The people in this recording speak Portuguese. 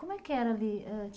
Como é que era ali? eh